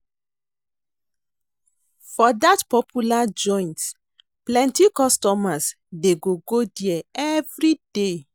For dat popular joint, plenty customers dey go go there everyday.